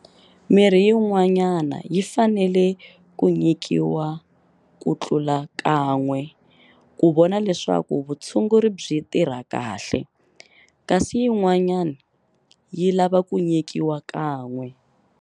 Mirhi yin'wana yi fanele ku nyikiwa ku tlula kan'we ku vona leswaku vutshunguri byi tirha kahle, kasi yin'wana yi lava ku nyikiwa kan'we.